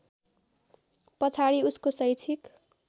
पछाडि उसको शैक्षिक